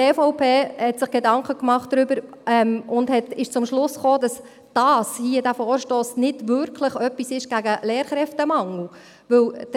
Die EVP hat sich Gedanken darüber gemacht und ist zum Schluss gekommen, dass dieser Vorstoss hier nicht wirklich etwas gegen den Lehrkräftemangel ist.